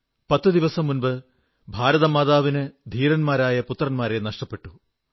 10 ദിവസം മുമ്പ് ഭാരതമാതാവിന് ധീരന്മാരായ പുത്രന്മാരെ നഷ്ടപ്പെട്ടു